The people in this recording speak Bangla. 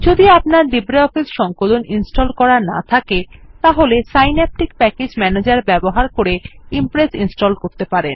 যদি আপনার লিব্রিঅফিস সংকলন ইনস্টল করা না থাকে তাহলে সিন্যাপটিক প্যাকেজ ম্যানেজের ব্যবহার করে ইমপ্রেস ইনস্টল করতে পারেন